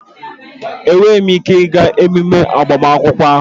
Enweghị m ike ịga emume agbamakwụkwọ ahụ